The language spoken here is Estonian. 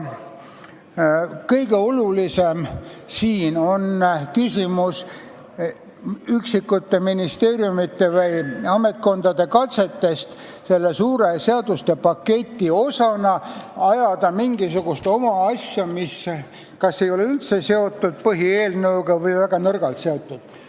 Kõige olulisem on siin küsimus üksikute ministeeriumite või ametkondade katsetest selle suure seaduspaketi osana ajada mingisugust oma asja, mis kas ei ole põhieelnõuga üldse seotud või on sellega väga nõrgalt seotud.